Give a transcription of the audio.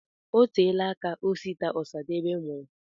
Oteela aka Osita Osadebe nwụrụ.